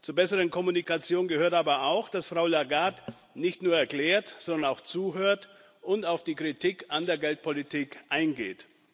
Zur besseren Kommunikation gehört aber auch, dass Frau Lagarde nicht nur erklärt, sondern auch zuhört und auf die Kritik an der Geldpolitik eingeht.